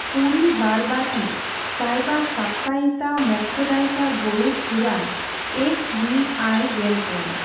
ᱯᱩᱨᱤ ᱵᱟᱨᱚᱵᱟᱴᱤ ᱥᱟᱤᱵᱟ ᱥᱟᱯᱛᱟᱭᱤᱛᱟ ᱢᱚᱠᱷᱥᱭᱚᱫᱟᱭᱤᱠᱟ ᱜᱚᱨᱩᱰᱚ ᱯᱩᱨᱟᱬᱚ I ᱮᱠᱥ ᱵᱷᱤ ᱟᱭ ᱹᱜᱮᱞᱯᱩᱱ